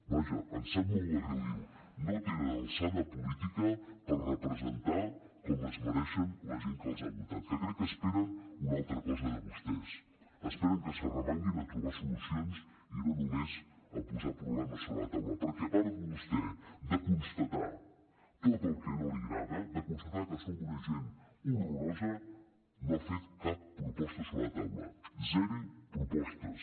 vaja em sap molt de greu dir ho no tenen alçada política per representar com es mereixen la gent que els ha votat que crec que esperen una altra cosa de vostès esperen que s’arremanguin a trobar solucions i no només a posar problemes sobre la taula perquè a part vostè de constatar tot el que no li agrada de constatar que som una gent horrorosa no ha fet cap proposta sobre la taula zero propostes